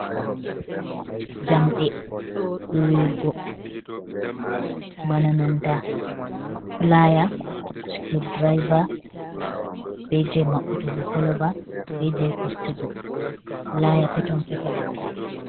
Njamɗe huwurgo bana nanta pulaya, sukur diriva, be je maɓɓutugo koloba, be je fistugo. Pulaya peton peton.